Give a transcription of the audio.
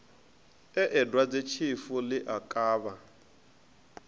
ee dwadzetshifu ḽi a kavha